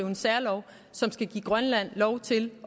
den særlov som skal give grønland lov til